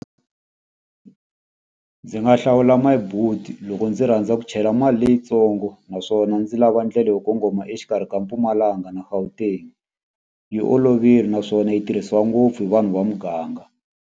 Ndzi nga hlawula My Boet loko ndzi rhandza ku chela mali leyitsongo, naswona ndzi lava ndlela yo kongoma exikarhi ka Mpumalanga na Gauteng. Yi olovile naswona yi tirhisiwa ngopfu hi vanhu va muganga.